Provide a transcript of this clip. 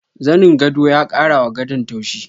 Zanin gwado ya kara wa gadon tauchi.